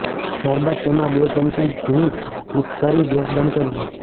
ત્યારબાદ તેમાં બે ચમચી ઘી મિક્સ કરી ગેસ બંધ કરી લો